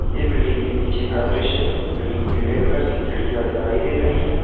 ये बिल्डिंग के पीछे का दृश्य है बिल्डिंग पीले कलर की खिड़कियां दिखाई दे रही हैं।